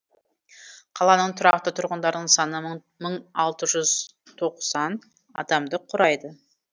қаланың тұрақты тұрғындарының саны мың алты жүз тоқсан адамды құрайды